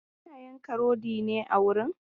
Ana yanka rodi ne a wurin?